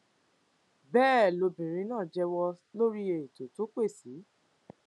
bẹẹ lobìnrin náà jẹwọ lórí ètò tó pẹ sí